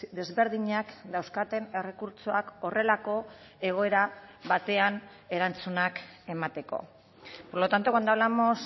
desberdinak dauzkaten errekurtsoak horrelako egoera batean erantzunak emateko por lo tanto cuando hablamos